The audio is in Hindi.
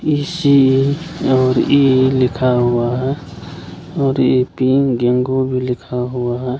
ये सी और ई लिखा हुआ है और ये तीन गिंगू भी लिखा हुआ है।